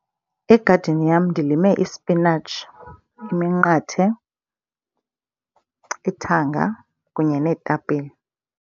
Egadini yam ndilime ispinatshi, iminqathe, ithanga kunye neetapile.